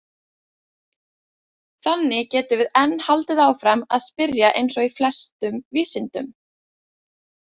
Þannig getum við enn haldið áfram að spyrja eins og í flestum vísindum!